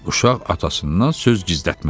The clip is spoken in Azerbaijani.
Uşaq atasından söz gizlətməz.